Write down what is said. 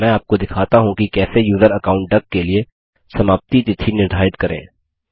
मैं आपको दिखाता हूँ कि कैसे यूज़र अकाउंट डक के लिए समाप्ति तिथि निर्धारित करें